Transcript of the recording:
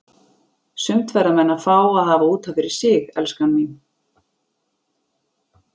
Sumt verða menn að fá að hafa út af fyrir sig, elskan mín.